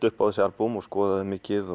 upp á þessi albúm og skoðaði þau mikið